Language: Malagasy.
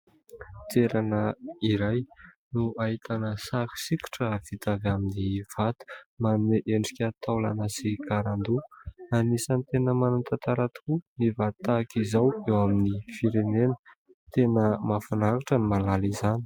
Toerana iray no ahitana sary sikotra vita avy amin'ny vato manomer endrika taolana sy karandoha. Anisany tena manan-tantara tokoa ny vato tahaka izao eo amin'ny firenena. Tena mahafinaritra ny mahalala izany.